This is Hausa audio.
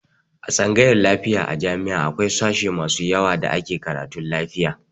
A tsangayar lafiya a jami'a akwai sashe masu yawa da ke karatun lafiya.